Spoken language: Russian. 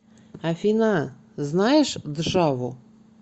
афина знаешь джаву